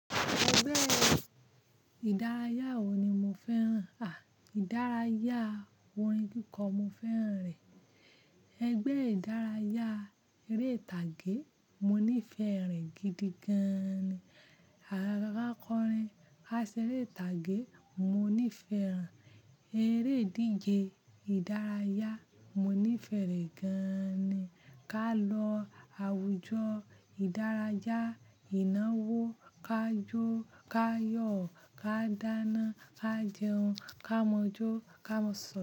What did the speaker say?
Ẹgbẹ́ ìdárayá wo ni mo fẹ́ràn? À, ìdárayá orin kíkọ mo fẹ́ràn rẹ̀. Ẹgbẹ́ ìdárayá eré ìtàgé, mo nífẹ̀ẹ́ rẹ gidi gan-an ni àkọ́rin aṣeré ìtàgé mo nífẹ̀ẹ́ rẹ̀. Eré ìdíje ìdárayá mo nífẹ̀ẹ́ rẹ̀ gan-an ni. Ká lọ àwùjọ ìdárayá Ìnáwó, ká jọ, ká yọ̀, ká dáná, ká jẹun, ká mọ̀jò, ká má sọ,